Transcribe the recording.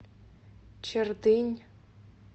чердынь